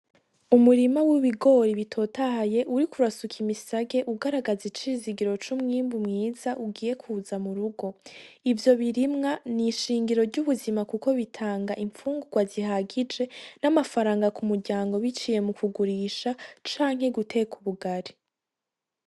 Umurima w'ibigori bitotahaye uri kurasuka imisage ugaragaze icizigiro c'umwimbu mwiza ugiye kuza mu rugo ivyo birimwa ni'ishingiro ry'ubuzima, kuko bitanga impfungurwa zihagije n'amafaranga ku muryango biciye mu kugurisha canke guteka ubugari.